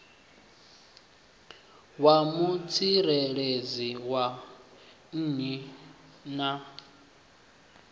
ya mutsireledzi wa nnyi na